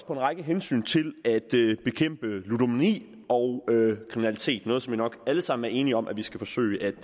på en række hensyn til at bekæmpe ludomani og kriminalitet noget som vi nok alle sammen er enige om at vi skal forsøge